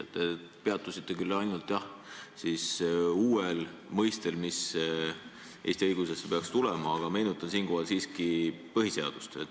Te peatusite ainult uuel mõistel, mis Eesti õigusesse peaks tulema, aga meenutan siinkohal siiski põhiseadust.